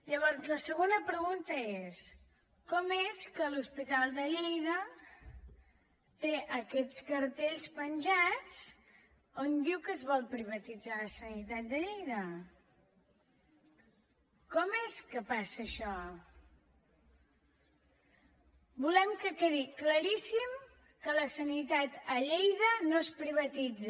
llavors la segona pregunta és com és que l’hospital de lleida té aquests cartells penjats que diuen que es vol privatitzar la sanitat de lleida que passa això volem que quedi claríssim que la sanitat a lleida no es privatitza